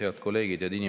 Head kolleegid!